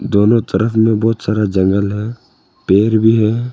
दोनों तरफ में बहुत सारा जंगल है पेड़ भी है।